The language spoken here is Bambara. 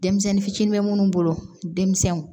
Denmisɛnnin fitiinin bɛ minnu bolo denmisɛnw